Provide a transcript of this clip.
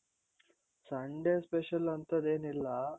Sunday special ಅಂಥದ್ದೆನಿಲ್ಲ .